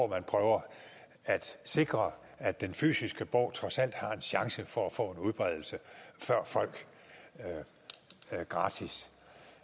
man prøver at sikre at den fysiske bog trods alt har en chance for at få en udbredelse før folk gratis